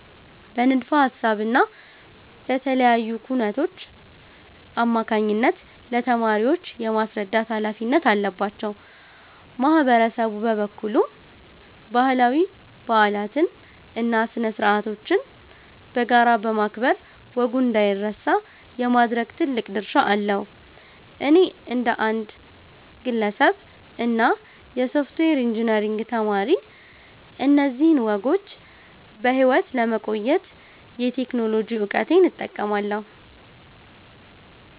በንድፈ ሃሳብ እና በተለያዩ ኩነቶች አማካኝነት ለተማሪዎች የማስረዳት ሃላፊነት አለባቸው። ማህበረሰቡ በበኩሉ ባህላዊ በዓላትን እና ስነ-ስርዓቶችን በጋራ በማክበር ወጉ እንዳይረሳ የማድረግ ትልቅ ድርሻ አለው። እኔ እንደ አንድ ግለሰብ እና የሶፍትዌር ኢንጂነሪንግ ተማሪ፣ እነዚህን ወጎች በሕይወት ለማቆየት የቴክኖሎጂ እውቀቴን እጠቀማለሁ።